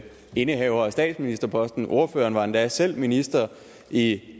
indehavere af statsministerposten og ordføreren var endda selv minister i